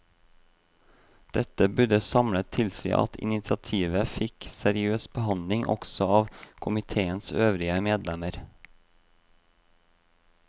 Dette burde samlet tilsi at initiativet fikk seriøs behandling også av komiteens øvrige medlemmer.